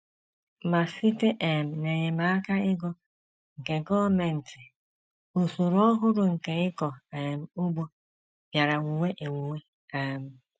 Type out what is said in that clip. Ma, site um n’enyemaka ego nke gọọmenti, usoro ọhụrụ nke ịkọ um ugbo bịara wuwe ewuwe um.